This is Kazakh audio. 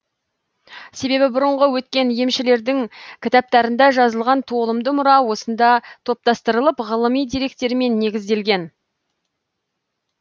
себебі бұрынғы өткен емшілердің кітаптарында жазылған толымды мұра осында топтастырылып ғылыми деректермен негізделген